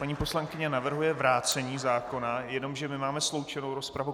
Paní poslankyně navrhuje vrácení zákona, jenomže my máme sloučenou rozpravu.